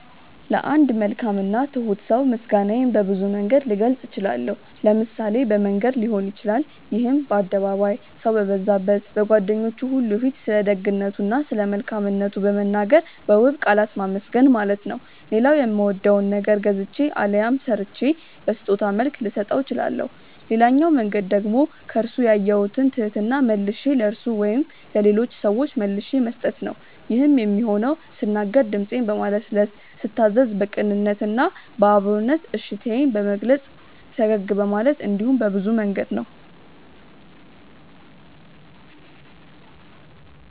ለአንድ መልካም እና ትሁት ሰው ምስጋናዬን በብዙ መንገድ ልገልጽ እችላለሁ። ለምሳሌ በመንገር ሊሆን ይችላል ይሄም በአደባባይ፣ ሰው በበዛበት፣ በጓደኞቹ ሁሉ ፊት ስለደግነቱ እና ስለመልካምነቱ በመናገር በውብ ቃላት ማመስገን ማለት ነው። ሌላው የሚወደውን ነገር ገዝቼ አሊያም ሰርቼ በስጦታ መልክ ልሰጠው እችላለሁ። ሌላኛው መንገድ ደግሞ ከርሱ ያየሁትን ትህትና መልሼ ለርሱ ወይም ለሌሎች ሰዎች መልሼ መስጠት ነው። ይሄም የሚሆነው ስናገር ድምጼን በማለስለስ፤ ስታዘዝ በቅንነት እና በአክብሮት እሺታዬን በመግለጽ፤ ፈገግ በማለት እንዲሁም በብዙ መንገድ ነው።